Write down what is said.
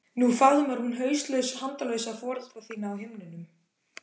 Nú faðmar hún hauslaus handalausa foreldra þína á himnum.